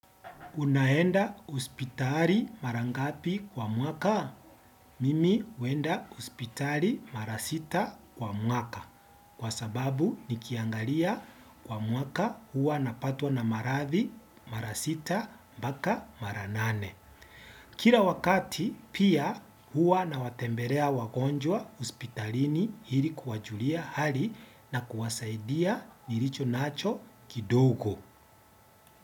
Unaenda hospitali mara ngapi kwa mwaka? Mimi huenda hospitali mara sita kwa mwaka kwa sababu nikiangalia kwa mwaka huwa napatwa na maradhi mara sita mpaka mara nane. Kila wakati pia huwa nawatembelea wagonjwa hospitalini ili kuwajulia hali na kuwasaidia nilicho nacho kidogo.